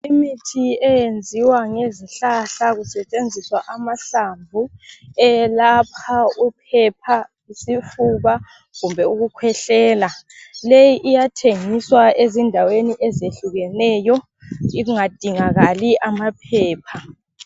Imithi eyenziwa ngezihlahla kusetshenziswa amahlamvu eyelapha uphepha, isifuba kumbe ukukhwehlela leyi iyathengiswa ezindaweni ezehlukeneyo ingadingakali amaphepha.